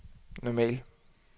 normal